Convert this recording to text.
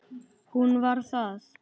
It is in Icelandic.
Hún var það.